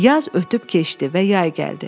Yaz ötüb keçdi və yay gəldi.